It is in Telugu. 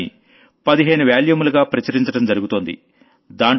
దాన్ని 15 వాల్యూములుగా ప్రచురించడం జరుగుతోంది